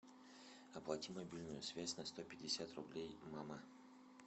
оплати мобильную связь на сто пятьдесят рублей мама